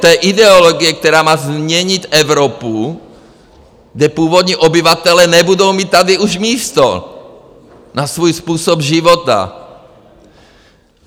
To je ideologie, která má změnit Evropu, kde původní obyvatelé nebudou mít tady už místo na svůj způsob života.